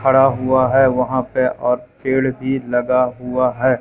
खड़ा हुआ है वहां पे और पेड़ भी लगा हुआ है।